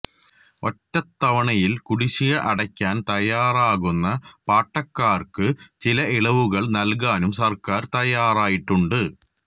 ഒറ്റതവണയില് കുടിശിക അടക്കാന് തയ്യാറാകുന്ന പാട്ടക്കാര്ക്ക് ചില ഇളവുകള് നല്കാനും സര്ക്കാര് തയ്യാറായിട്ടുണ്ട്